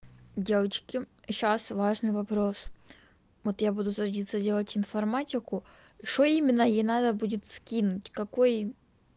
девочки сейчас важный вопрос вот я буду садиться делать информатику что именно ей надо будет скинуть какой